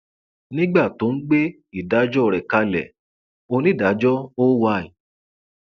nígbà tó ń gbé ìdájọ rẹ kalẹ onídàájọ oy